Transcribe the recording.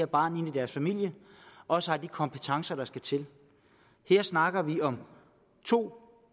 barn ind i deres familie også har de kompetencer der skal til her snakker vi om to